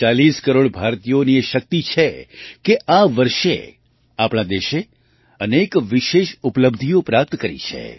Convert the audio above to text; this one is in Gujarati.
140 કરોડ ભારતીયોની એ શક્તિ છે કે આ વર્ષે આપણા દેશે અનેક વિશેષ ઉપલબ્ધિઓ પ્રાપ્ત કરી છે